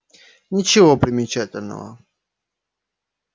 ничего примечательного